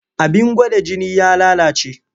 Abin gwada jini ya lalace.